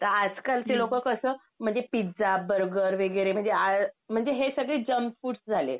तर आजकालचे लोक कसं म्हणजे पिझ्झा, बर्गर वगैरे म्हणजे आय म्हणजे हे सगळे जंक फूड्स झाले.